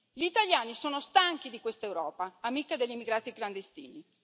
Gli italiani sono stanchi di questa Europa, amica degli immigrati clandestini.